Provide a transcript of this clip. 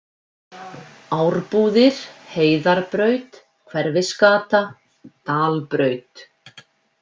Árbúðir, Heiðarbraut, Hverfisgata, Dalbraut